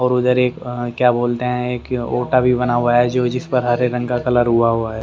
और उधर एक क्या बोलते हैं कि ओटा भी बना हुआ है जो जिस पर हरे रंग का कलर होआ हुआ है।